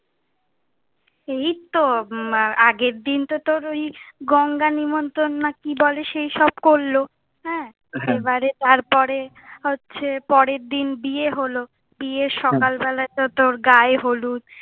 এই তো আগের দিন তো তোর ওই গঙ্গা নিমন্ত্রন না কি বলে, সেই সব করলো হ্যাঁ, হ্যাঁ। এবারে তার পরে হচ্ছে, পরের দিন বিয়ে হলো, হ্যাঁ, বিয়ের সকাল বেলা তো তোর গায়ে হলুদ,